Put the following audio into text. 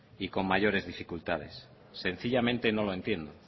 y con mayores dificultades sencillamente no lo entiendo